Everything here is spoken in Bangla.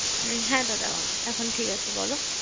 এ হ্যা দাদা এখন ঠিক আছে বল